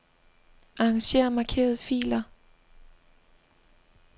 Arranger markerede filer.